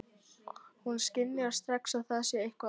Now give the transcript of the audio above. Hún skynjar strax að það er eitthvað að.